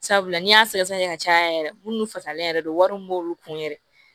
Sabula n'i y'a sɛgɛsɛgɛ ka caya yɛrɛ munnu fasalen yɛrɛ don wari min b'olu kun yɛrɛ